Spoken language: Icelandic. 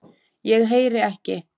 ég heyri ekki.